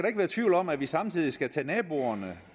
ikke være tvivl om at vi samtidig skal tage naboerne